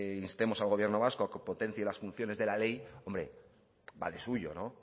instemos al gobierno vasco a que potencie las funciones de la ley hombre va de suyo no